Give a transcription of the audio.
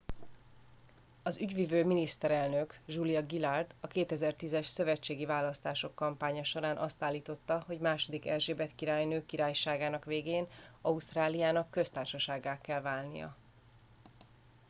az ügyvivő miniszterelnök julia gillard a 2010 es szövetségi választások kampánya során azt állította hogy ii erzsébet királynő királyságának végén ausztráliának köztársasággá kell válnia